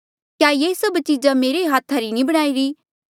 क्या ये सभ चीजा मेरे ही हाथा री नी बणाईरी